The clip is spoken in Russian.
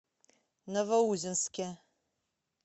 новоузенске